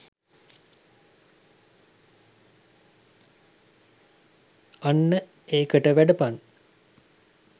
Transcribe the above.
අන්න එකට වැඩපන්